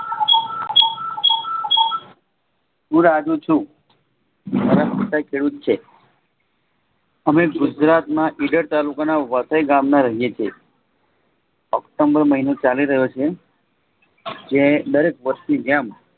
હુંરાજુ છું. મારા પિતા ખેડૂત છે. અમે ગુજરાતમાં ઇડર તાલુકાના વાસી ગામમાં રહીયે છીએ ઑક્ટ્મ્બર મહિનો ચાલી રહ્યો છે જે દરેક વર્ષ ની જેમ